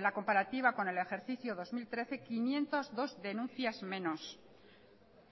la comparativa con el ejercicio dos mil trece quinientos dos denuncias menos